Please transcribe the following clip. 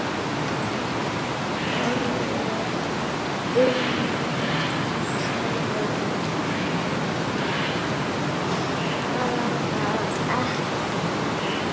Urður svarað ekki.